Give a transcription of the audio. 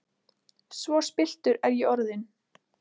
Svo spilltur er ég orðinn!